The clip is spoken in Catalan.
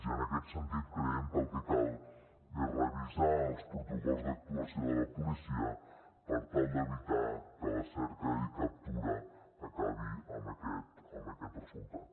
i en aquest sentit creiem que el que cal és revisar els protocols d’actuació de la policia per tal d’evitar que la cerca i captura acabi amb aquest resultat